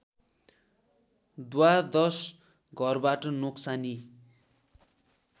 द्वादश घरबाट नोक्सानी